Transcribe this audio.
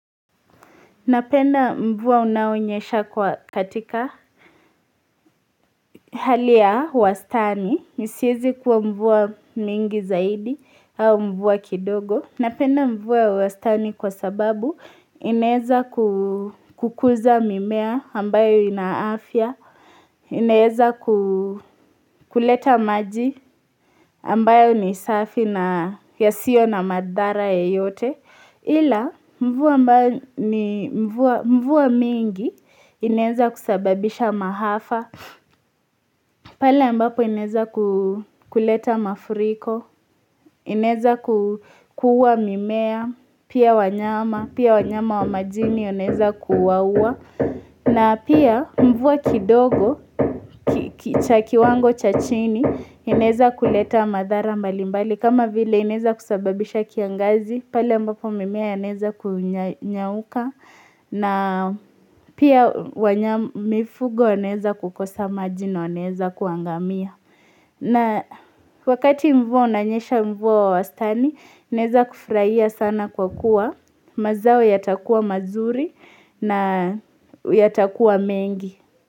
Napenda mvua unaonyesha katika hali ya wastani, isieze kuwa mvua mingi zaidi au mvua kidogo. Napenda mvua wastani kwa sababu inaeza kukuza mimea ambayo ina afya, inaeza kuleta maji ambayo ni safi na yasiyo na madhara yeyote. Ila mvua mingi inaeza kusababisha maafa, pale mbapo inaeza kuleta mafuriko, inaeza kuua mimea, pia wanyama, pia wanyama wa majini yanaweza kuwaua, na pia mvua kidogo, kiwango cha chini, inaeza kuleta madhara mbali mbali. Kama vile inaeza kusababisha kiangazi, pale ambapo mimea inaweza kunyauka. Na pia mifugo wanaeza kukosa maji na, wanaeza kuangamia. Na wakati mvua unanyesha mvua wa wastani, ineza kufurahia sana kwa kuwa. Mazao yatakuwa mazuri na yatakuwa mengi.